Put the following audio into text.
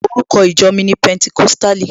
Orúkọ ìjọ mi ni Pẹnticọ́sítàlì.